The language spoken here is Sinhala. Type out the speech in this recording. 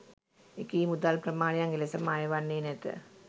එකී මුදල් ප්‍රමාණයන් එලෙසම අය වන්නේ නැත